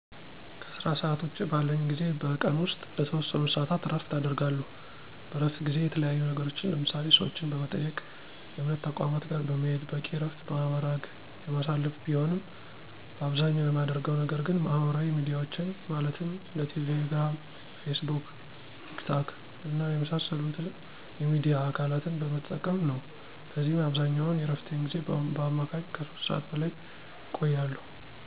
ከስራ ሰዓት ውጭ ባለኝ ጊዜ በቀን ውስጥ ለተወሰኑ ሰዓታት እረፍት አደርጋለሁ። በእረፍት ጊዜየ የተለያዩ ነገሮችን ለምሳሌ፦ ሰዎችን በመጠየቅ፣ የእምነት ተቋማት ጋር በመሄድ፣ በቂ እረፍት በማድረግ የማሳልፍ ቢሆንም በአብዛኛው የማደርገው ነገር ግን ማህበራዊ ሚዲያዎችን ማለትም እንደ ቴሌ ግራም፣ ፌስቡክ፣ ቲክ ታክ እና የመሳሰሉት የሚዲያ አካለትን በመጠቀም ነው። በዚህም አብዛኛውን የእረፍቴን ጊዜ በአማካኝ ከ 3 ሰዓት በላይ እቆያለሁ።